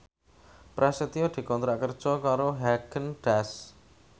Prasetyo dikontrak kerja karo Haagen Daazs